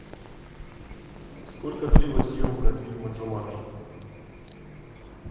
сколько длилась съемка фильма джуманджи